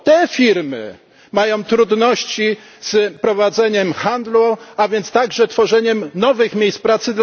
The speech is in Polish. Firmy te mają trudności z prowadzeniem handlu, a więc także z tworzeniem nowych miejsc pracy.